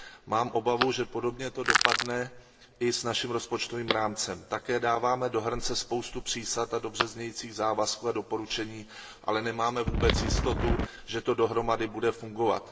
Mám obavu, že podobně to dopadne i s naším rozpočtovým rámcem. Také dáváme do hrnce spoustu přísad a dobře znějících závazků a doporučení, ale nemáme vůbec jistotu, že to dohromady bude fungovat.